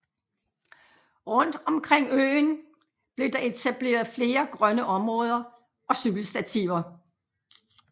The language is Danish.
Rundt omkring øen blev der etableret flere grønne områder og cykelstativer